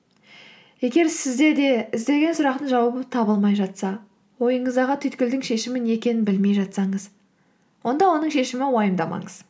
егер сізде де іздеген сұрақтың жауабы табылмай жатса ойыңыздағы түйткілдің шешімі не екенін білмей жатсаңыз онда оның шешімін уайымдамаңыз